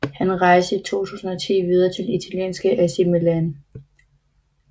Han rejste i 2010 videre til italienske AC Milan